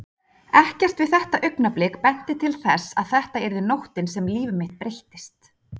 Ekkert við þetta augnablik benti til þess að þetta yrði nóttin sem líf mitt breyttist.